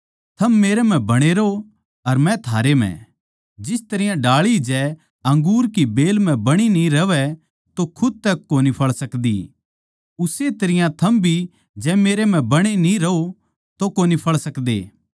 थम मेरै म्ह बणे रहो अर मै थारै म्ह जिस तरियां डाळी जै अंगूर की बेल म्ह बणी न्ही रहवै तो खुद तै कोनी फळ सकदी उस्से तरियां थम भी जै मेरै म्ह बणे न्ही रहो तो कोनी फळ सकदे